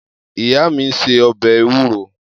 Iya mi n se obe ewuro.